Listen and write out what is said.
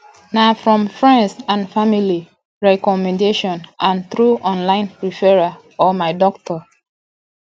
na from friends and family recommendation and through online referrals or my doctor